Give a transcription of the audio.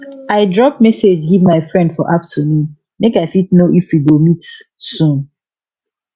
i drop message give my friend for afternoon make i fit know if we go meet soon